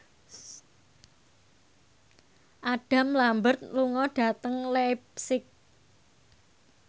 Adam Lambert lunga dhateng leipzig